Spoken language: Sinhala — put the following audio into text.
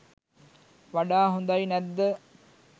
වඩා හොඳයි නැද්ද?